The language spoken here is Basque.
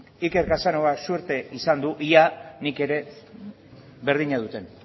iker casanovak zorte izan du ea nik ere berdina dudan